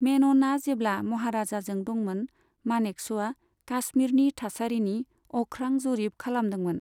मेन'नआ जेब्ला महाराजाजों दंमोन, मानेकश'आ काश्मिरनि थासारिनि अख्रां जरिब खालामदोंमोन।